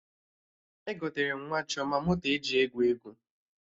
Egotere m nwa Chioma moto eji egwu egwu